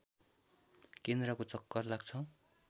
केन्द्रको चक्कर लाग्छ